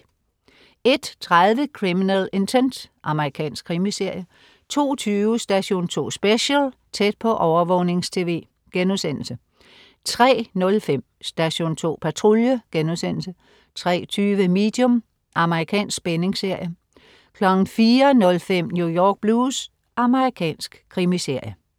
01.30 Criminal Intent. Amerikansk krimiserie 02.20 Station 2 Special: Tæt på overvågnings-TV* 03.05 Station 2 Patrulje* 03.20 Medium. Amerikansk spændingsserie 04.05 New York Blues. Amerikansk krimiserie